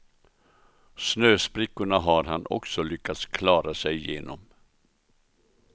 Snösprickorna har han också lyckats klara sig igenom.